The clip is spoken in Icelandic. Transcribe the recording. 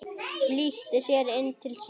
Flýtti sér inn til sín.